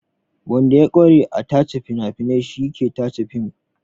Wanda ya ƙware a tace fina-finai shi ke tace fim.